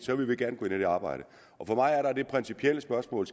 vil vi gerne gå ind i det arbejde for mig er der det principielle spørgsmål